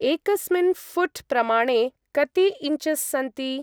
एकंस्मिन् फ़ूट्-प्रमाणे कति इञ्चस् सन्ति?